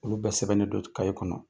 Olu bɛɛ sɛbɛnnen don kaɲɛ kɔnɔ